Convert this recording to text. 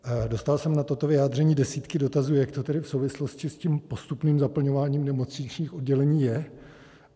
Dostal jsem na toto vyjádření desítky dotazů, jak to tedy v souvislosti s tím postupným zaplňováním nemocničních oddělení je.